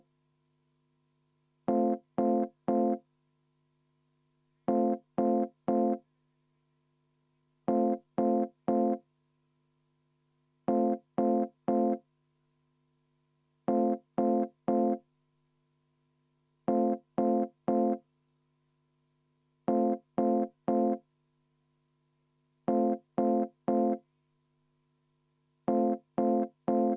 Enne muudatusettepaneku hääletamist palun teha kümneminutiline pausi ja viia läbi kohaloleku kontroll.